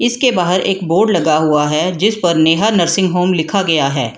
इसके बाहर एक बोर्ड लगा हुआ है जिस पर नेहा नर्सिंग होम लिखा गया है।